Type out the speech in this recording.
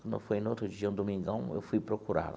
Quando foi no outro dia, um domingão, eu fui procurar lá.